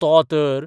तो तर